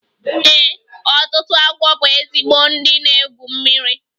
Ee, ọtụtụ agwọ bụ ezigbo ndị na-egwu mmiri